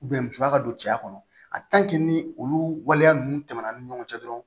musoya ka don cɛya kɔnɔ ni olu waleya ninnu tɛmɛna an ni ɲɔgɔn cɛ dɔrɔn